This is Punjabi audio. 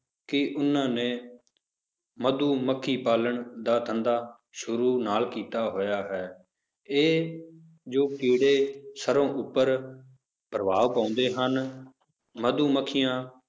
ਕਿ ਉਹਨਾਂ ਨੇ ਮਧੂ ਮੱਖੀ ਪਾਲਣ ਦਾ ਧੰਦਾ ਸ਼ੁਰੂ ਨਾਲ ਕੀਤਾ ਹੋਇਆ ਹੈ, ਇਹ ਜੋ ਕੀੜੇ ਸਰੋਂ ਉੱਪਰ ਪ੍ਰਭਾਵ ਪਾਉਂਦੇ ਹਨ, ਮਧੂ ਮੱਖੀਆਂ